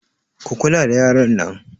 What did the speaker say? Ku kula da yaran nan!